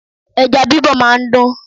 Ẹja bí bọ máa ń dùn.